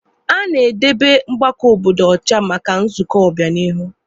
A na-edebe ebe mgbakọ obodo ọcha maka nzukọ ọbịanihu